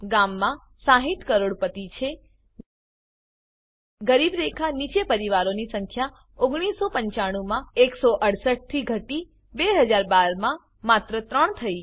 ગામમાં 60 કરોડોપતિ છે ગરીબી રેખા નીચે પરિવારોની સંખ્યા 1995 માં 168 થી ઘટી 2012 માં માત્ર 3 થયી